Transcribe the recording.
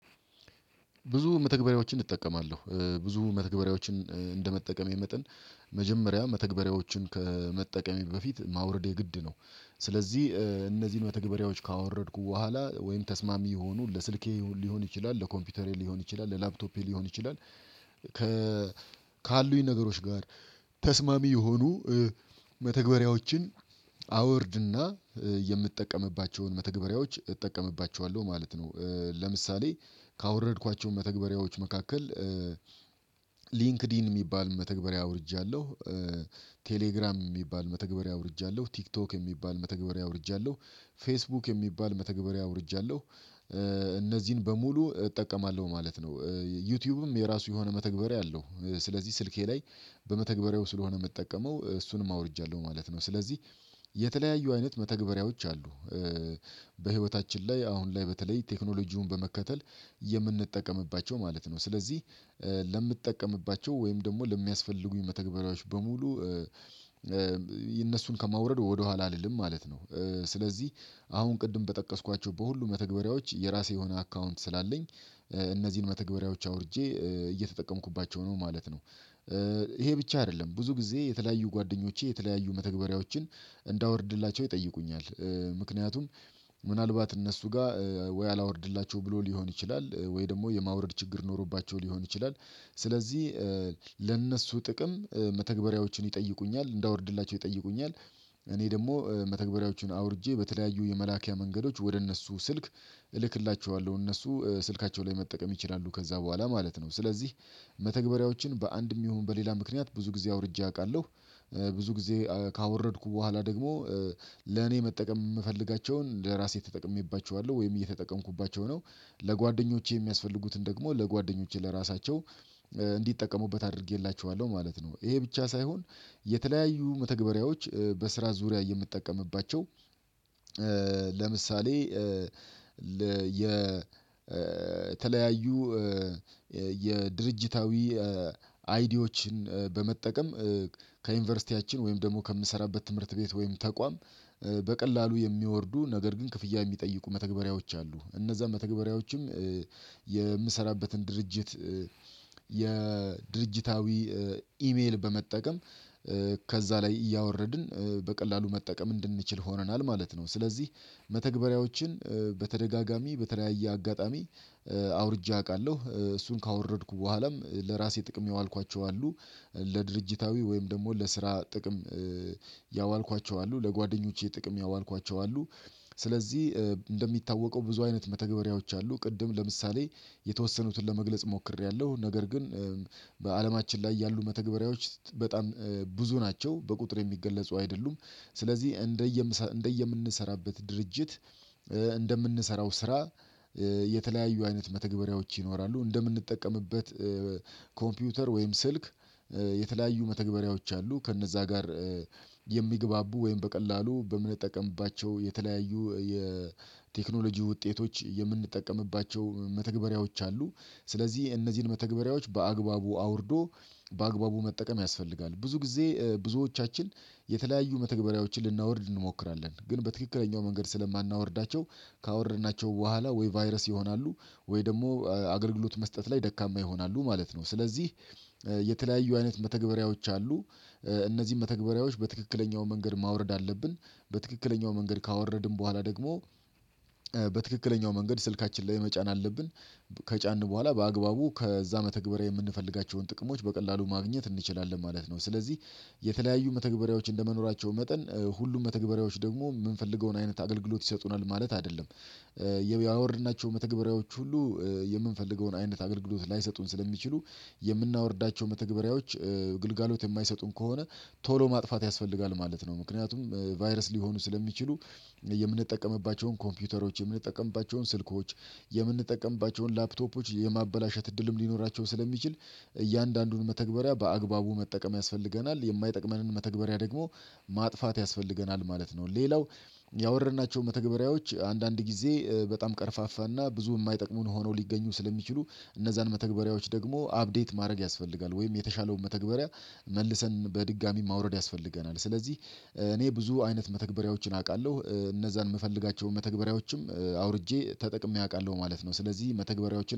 ብዙ መተግበሪያዎችን እጠቀማለሁ ብዙ መተግበሪያዎችን እንደመጠቀሜ መጠን መጀመሪያ መተግበሪያዎችን ከመጠቀሜ በፊት ማውረድ የግድ ነው። ስለዚህ እነዚህን በተግባራዎች ካወረድኩ በኋላ ወይም ተስማሚ የሆኑ ለስልኬ ሊሆን ይችላል ለኮምፒውተሬ ሊሆን ይችላል ለላፕቶፔ ሊሆን ይችላል ካሉኝ ነገሮች ጋር ተስማሚ የሆኑ መተግበሪያዎችን አወርድና የምትጠቀምባቸውን መተግበሪያዎች እጠቀምባቸዋለሁ ማለት ነው። ለምሳሌ ካወረድኳቸው መተግበሪያዎች መካከል ሊንክድን የሚባል መተግበሪያ አውርጃለሁ። ቴሌግራም የሚባል መተግበሪያ አውርጃለሁ ቲክቶክ የሚባል መተግበሪያ አውርጃለሁ ፌስቡክ የሚባል መተግበሪያ አውርጃለሁ። እነዚህን በሙሉ እጠቀማለሁ ማለት ነው። ዩቲዩብም የራሱ የሆነ መተግበሪያ አለው ስለዚህ ስልኬ ላይ በመተግበሪያው ስለሆነ የምጠቀመው እሱንም አውርጃለሁ ማለት ነው። ስለዚህ የተለያዩ አይነት መተግበሪያዎች አሉ። በህይወታችን ላይ አሁን ላይ በተለይ ቴክኖሎጂውን በመከተል የምንጠቀምባቸው ማለት ነው። ስለዚህ ለምትጠቀምባቸው ወይም ደግሞ ለሚያስፈልጉኝ መተግበሪያዎች በሙሉ እነሱን ከማውረድ ወደኋላ አልልም ማለት ነው። ስለዚህ አሁን ቅድም በጠቀስኳቸው በሁሉ መተግበሪያዎች የራሴ የሆነ አካውንት ስላለኝ እነዚህን መተግበሪያዎች አውርጄ እየተጠቀምኩባቸው ነው ማለት ነው። ይሄ ብቻ አይደለም ብዙ ጊዜ የተለያዩ ጓደኞቼ የተለያዩ መተግበሪያዎችን እንዳወርድላቸው ይጠይቁኛል። ምክንያቱም ምናልባት እነሱ ጋር ወይ አላወርድላቸው ብሎ ሊሆን ይችላል ወይ ደግሞ የማውረድ ችግር ኖሮባቸው ሊሆን ይችላል። ስለዚህ ለእነሱ ጥቅም መተግበሪያዎችን ይጠይቁኛል እንዳወርድላቸው ይጠይቁኛል። እኔ ደግሞ መተግበሪያዎቹን አውርጄ በተለያዩ የመላኪያ መንገዶች ወደ እነሱ ስልክ እልክላቸዋለሁ እነሱ ስልካቸው ላይ መጠቀም ይችላሉ ከዛ በኋላ ማለት ነው። ስለዚህ መተግበሪያዎችን በአንድም ይሁን በሌላ ምክንያት ብዙ ጊዜ አውርጄ አውቃለሁ። ብዙ ጊዜ ካወረድኩ በኋላ ደግሞ ለኔ መጠቀም የምፈልጋቸውን ለራሴ ተጠቅሜባችኋለሁ ወይም እየተጠቀምኩባቸው ነው። ለጓደኞቼ የሚያስፈልጉትን ደግሞ ለጓደኞቼ ለራሳቸው እንዲጠቀሙበት አድርጌላቸዋለሁ ማለት ነው። ይሄ ብቻ ሳይሆን የተለያዩ መተግበሪያዎች በስራ ዙሪያ የምጠቀምባቸው ለምሳሌ የ የተለያዩ የድርጅታዊ አይዲዎችን በመጠቀም ከዩኒቨርሲቲያችን ወይም ደግሞ ከምሰራበት ትምህርት ቤት ወይም ተቋም በቀላሉ የሚወርዱ ነገር ግን ክፍያ የሚጠይቁ መተግበሪያዎች አሉ። እነዛ መተግበሪያዎችም የምሰራበትን ድርጅት የድርጅታዊ ኢሜል በመጠቀም ከዛ ላይ እያወረድን በቀላሉ መጠቀም እንድንችል ሆነናል ማለት ነው። ስለዚህ መተግበሪያዎችን በተደጋጋሚ በተለያየ አጋጣሚ አውርጃ አውቃለሁ እሱን ካወረድኩ በኋላም ለራሴ ጥቅም ያዋልኳቸው አሉ ለድርጅታዊ ወይም ደግሞ ለስራ ጥቅም ያዋልኳቸው አሉ። ለጓደኞቼ ጥቅም ያዋልኳቸው አሉ። ስለዚህ እንደሚታወቀው ብዙ አይነት መተግበሪያዎች አሉ ቅድም ለምሳሌ የተወሰኑትን ለመግለጽ ሞክሬያለሁ። ነገር ግን በአለማችን ላይ ያሉ መተግበሪያዎች በጣም ብዙ ናቸው በቁጥር የሚገለጹ አይደሉም። ስለዚህ እንደየምንሰራበት ድርጅት እንደምንሰራው ስራ የተለያዩ አይነት መተግበሪያዎች ይኖራሉ። እንደምንጠቀምበት ኮምፒውተር ወይም ስልክ የተለያዩ መተግበሪያዎች አሉ ከእነዛ ጋር የሚግባቡ ወይም በቀላሉ በምን ጠቀምባቸው የተለያዩ የቴክኖሎጂ ውጤቶች የምንጠቀምባቸው መተግበሪያዎች አሉ። ስለዚህ እነዚህን መተግበሪያዎች በአግባቡ አውርዶ በአግባቡ መጠቀም ያስፈልጋል። ብዙ ጊዜ ብዙዎቻችን የተለያዩ መተግበሪያዎችን ልናወርድ እንሞክራለን ግን በትክክለኛው መንገድ ስለማናወርዳቸው ካወረድናቸው በኋላ ወይ ቫይረስ ይሆናሉ ወይ ደግሞ አገልግሎት መስጠት ላይ ደካማ ይሆናሉ ማለት ነው። ስለዚህ የተለያዩ አይነት መተግበሪያዎች አሉ። እነዚህን መተግበሪያዎች በትክክለኛው መንገድ ማውረድ አለብን። በትክክለኛው መንገድ ካወረድን በኋላ ደግሞ በትክክለኛው መንገድ ስልካችን ላይ መጫን አለብን። ከጫንን በኋላ በአግባቡ ከዛ መተግበሪያ የምንፈልጋቸውን ጥቅሞች በቀላሉ ማግኘት እንችላለን ማለት ነው። ስለዚህ የተለያዩ መተግበሪያዎች እንደመኖራቸው መጠን ሁሉም መተግበሪያዎች ደግሞ የምንፈልገውን አይነት አገልግሎት ይሰጡናል ማለት አይደለም። ያወርድናቸው መተግበሪያዎች ሁሉ የምንፈልገውን አይነት አገልግሎት ላይሰጡን ስለሚችሉ የምናወርዳቸው መተግበሪያዎች ግልጋሎት የማይሰጡን ከሆነ ቶሎ ማጥፋት ያስፈልጋል ማለት ነው። ምክንያቱም ቫይረስ ሊሆኑ ስለሚችሉ የምንጠቀምባቸውን ኮምፒውተሮች የምንጠቀምባቸውን ስልኮች የምንጠቀምባቸውን ላፕቶፖች የማበላሸት እድልም ሊኖራቸው ስለሚችል እያንዳንዱን መተግበሪያ በአግባቡ መጠቀም ያስፈልገናል የማይጠቅመንን መተግበሪያ ደግሞ ማጥፋት ያስፈልገናል ማለት ነው። ሌላው ያወረድናቸውን መተግበሪያዎች አንዳንድ ጊዜ በጣም ቀርፋፋና ብዙ የማይጠቅሙን ሆነው ሊገኙ ስለሚችሉ እነዛን መተግበሪያዎች ደግሞ አፕዴት ማድረግ ያስፈልጋል ወይም የተሻለውን መተግበሪያ መልሰን በድጋሚ ማውረድ ያስፈልገናል። ስለዚህ እኔ ብዙ አይነት መተግበሪያዎችን አውቃለሁ እነዛን የምፈልጋቸውን መተግበሪያዎችም አውርጄ ተጠቅሜ አውቃለሁ ማለት ነው። ስለዚህ መተግበሪያዎችን